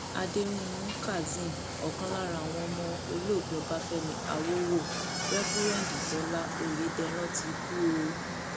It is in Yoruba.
àdẹrùnmú kazeem ọkan lára àwọn ọmọ olóògbé ọbáfẹmi àwòwò réfúrẹǹdì tólà ọyẹdẹrán ti kú o